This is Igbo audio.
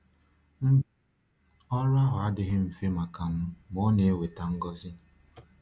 Mba, ọrụ ahụ adịghị mfe maka m, ma ọ na-eweta ngọzi.